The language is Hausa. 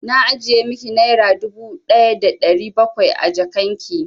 Na ajiye miki naira dubu ɗaya da ɗari bakwai a jakan ki.